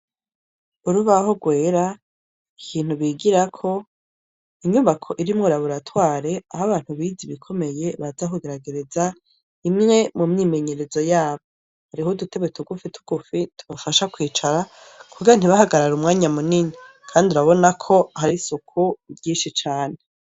Urubaho rwera ikintu bigirako inyubako irimwo raburatware aho abantu bizi bikomeye bazakugaragereza imwe mu myimenyerezo yabo hariho udutewe tugufi tugufi tubafasha kwicara kugira ntibahagarare umwanya munini, kandi urabona ko hari isuku ryinshi cane.